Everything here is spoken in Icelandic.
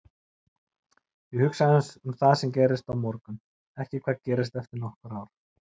Ég hugsa aðeins um hvað gerist á morgun, ekki hvað gerist eftir nokkur ár.